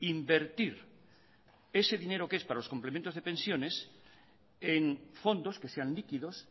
invertir ese dinero que es para los complementos de pensiones en fondos que sean líquidos